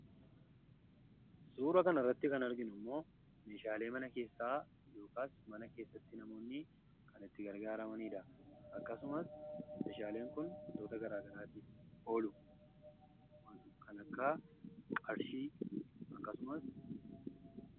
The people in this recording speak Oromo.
Suuraa kana irratti kan mul'atu meeshaalee mana keessaadha. Meeshaaleen kun wantoota garaa garaatiif oolu.